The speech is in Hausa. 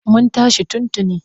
Mun tashi tun tuni.